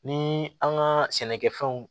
Ni an ka sɛnɛkɛfɛnw